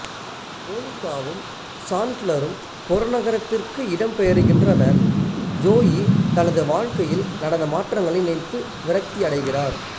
மோனிகாவும் சாண்ட்லரும் புறநகரத்திற்கு இடம்பெயருகின்றனர் ஜோயி தனது வாழ்க்கையில் நடந்த மாற்றங்களை நினைத்து விரக்தியடைகிறார்